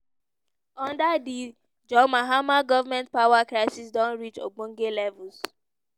under di john mahama goment power crisis don reach ogbonge levels.